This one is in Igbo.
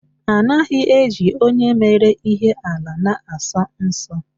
Anaghị eli onye mere ihe ala na asọ nsọ.